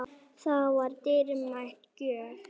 Það var dýrmæt gjöf.